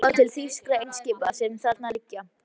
Skilaboð til þýskra eimskipa, sem þarna liggja.